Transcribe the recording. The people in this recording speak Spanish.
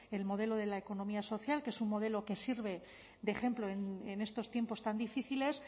el modelo de la economía social que es un modelo que sirve de ejemplo en estos tiempos tan difíciles